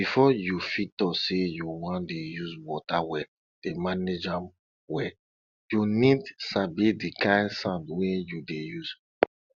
befo you fit tok say you wan dey use wata well dey manage am well you need sabi di kind sand wey you dey use